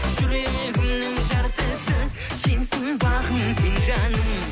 жүрегімнің жартысы сенсің бағым сен жаным